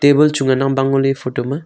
table chu ngan nang bang ngo le photo ma.